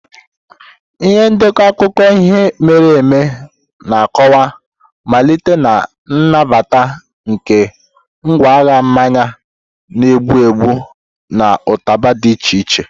Ihe ndekọ akụkọ ihe mere eme na-akọwa mmalite na nnabata nke ngwaahịa mmanya na-egbu egbu na ụtaba dị iche iche.